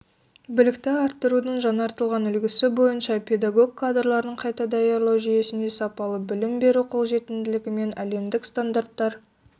білікті арттырудың жаңартылған үлгісі бойынша педагог кадрларын қайта даярлау жүйесінде сапалы білім беру қолжетімділігі мен әлемдік стандарттар